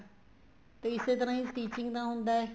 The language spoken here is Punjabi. ਤੇ ਇਸੇ ਤਰ੍ਹਾਂ ਹੀ stitching ਦਾ ਹੁੰਦਾ ਹੈ